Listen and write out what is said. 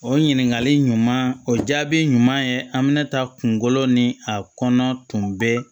O ɲininkali ɲuman o jaabi ɲuman ye an bɛna taa kunkolo ni a kɔnɔ tun bɛ